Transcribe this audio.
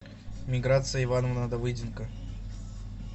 миграция ивановна давыденко